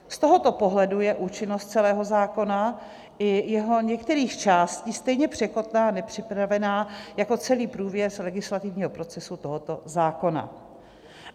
Z tohoto pohledu je účinnost celého zákona i jeho některých částí stejně překotná a nepřipravená jako celý průběh legislativního procesu tohoto zákona.